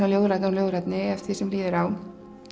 ljóðrænni og ljóðrænni eftir því sem líður á